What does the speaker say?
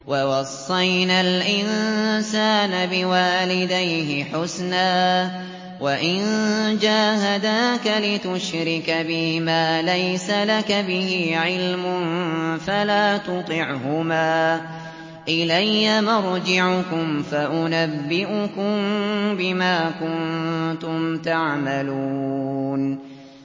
وَوَصَّيْنَا الْإِنسَانَ بِوَالِدَيْهِ حُسْنًا ۖ وَإِن جَاهَدَاكَ لِتُشْرِكَ بِي مَا لَيْسَ لَكَ بِهِ عِلْمٌ فَلَا تُطِعْهُمَا ۚ إِلَيَّ مَرْجِعُكُمْ فَأُنَبِّئُكُم بِمَا كُنتُمْ تَعْمَلُونَ